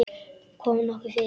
Kom nokkuð fyrir?